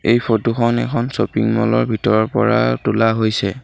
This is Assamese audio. এই ফটো খন এখন শ্বপিং মল ৰ ভিতৰৰ পৰা তোলা হৈছে।